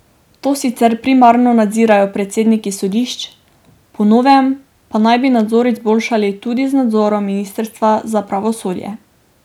To sicer primarno nadzirajo predsedniki sodišč, po novem pa naj bi nadzor izboljšali tudi z nadzorom ministrstva za pravosodje.